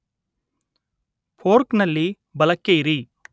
ಫೋರ್ಕ್‌ನಲ್ಲಿ ಬಲಕ್ಕೆ ಇರಿ